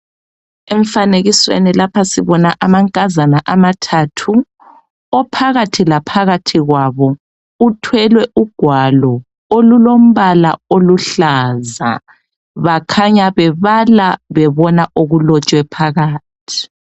Emfanekisweni lapha sibona amankazana amathathu. Ophakathi kwabo uthwele ugwalo olulombala oluhlaza. Bakhanya bebala bebona okulotshwe phakathi .